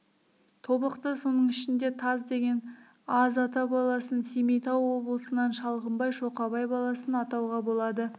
тобықты соның ішінде таз деген аз ата баласын семейтау болысынан шалғымбай шоқабай баласын атауға болады